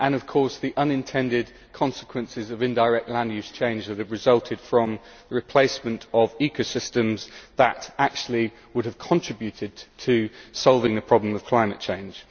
and of course the unintended consequences of indirect land use change that have resulted from the replacement of ecosystems that would actually have contributed to solving the problem of climate change.